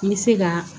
N bɛ se ka